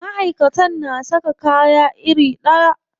Maʼaikatan na saka kaya iri ɗaya.